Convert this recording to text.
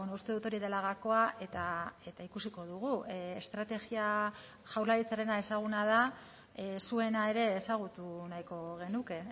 uste dut hori dela gakoa eta ikusiko dugu estrategia jaurlaritzarena ezaguna da zuena ere ezagutu nahiko genuke